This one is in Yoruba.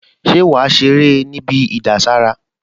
Ṣé wàá ṣeré níbi ìdására?